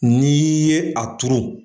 Ni ye a turu.